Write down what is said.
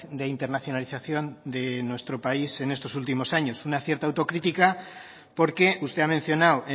de internacionalización de nuestro país en estos últimos años una cierta autocrítica porque usted ha mencionado